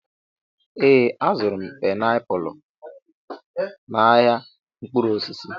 Ee, azụrụ m painiapulu a n'ahịa mkpụrụ osisi.